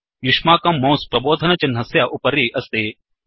युश्माकं mouse प्रबोधनचिह्नस्य उपरि अस्ति